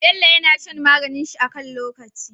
Bello yAna shan maganin shi a kan lokaci